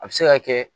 A bɛ se ka kɛ